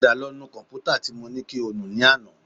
Padà lọ nu kọ̀m̀pútà tí mo ní kí o nù ní àná